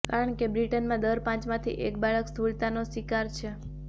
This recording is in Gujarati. કારણકે બ્રિટનમાં દર પાંચમાંથી એક બાળક સ્થૂળતાનો શિકાર છે